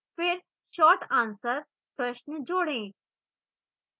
फिर short answer प्रश्न जोडें